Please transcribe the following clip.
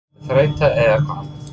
Var það þreyta eða eitthvað annað?